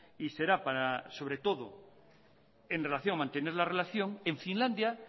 y será para sobre todo en relación a mantener la relación en finlandia